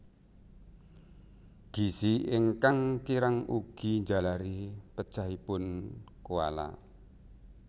Gizi ingkang kirang ugi njalari pejahipun koala